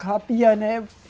Cabia, né?